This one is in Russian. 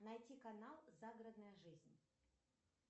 найти канал загородная жизнь